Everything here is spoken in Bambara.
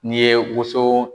N'i ye woso